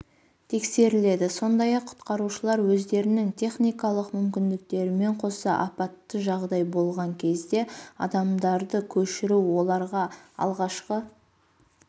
тексеріледі сондай-ақ құтқарушылар өздерінің техникалық мүмкіндіктерімен қоса апатты жағдай болған кезде адамдарды көшіру оларға алғашқы